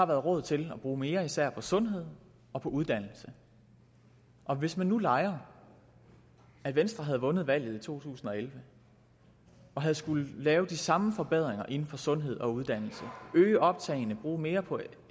været råd til at bruge mere især på sundhed og på uddannelse og hvis man nu leger at venstre havde vundet valget i to tusind og elleve og havde skullet lave de samme forbedringer inden for sundhed og uddannelse øge optagene bruge mere på